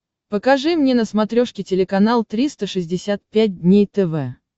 покажи мне на смотрешке телеканал триста шестьдесят пять дней тв